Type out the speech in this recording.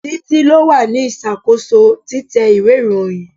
Títí lo wà ní ìṣàkóso títẹ ìwé ìròyìn.